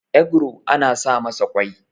egro ana sa masa kwai